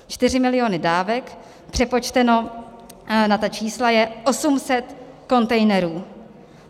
Čtyři miliony dávek přepočteno na ta čísla je 800 kontejnerů.